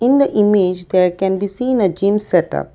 in the image there can be seen a gym set up.